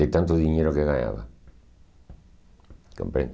De tanto dinheiro que eu ganhava. Compreende?